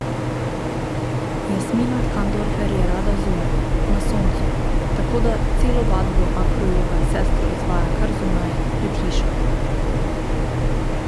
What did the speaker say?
Jasmina Kandorfer je rada zunaj, na soncu, tako da celo vadbo akrojoga s sestro izvaja kar zunaj, pred hišo.